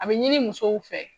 A be ɲini musow fɛ